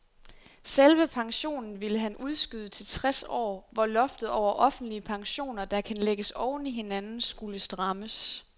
Selve pensionen ville han udskyde til tres år, hvor loftet over offentlige pensioner, der kan lægges oven i hinanden, skulle strammes.